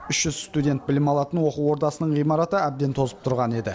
үш жүз студент білім алатын оқу ордасының ғимараты әбден тозып тұрған еді